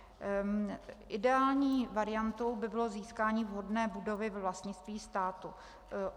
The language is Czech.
Ideální variantou by bylo získání vhodné budovy ve vlastnictví státu.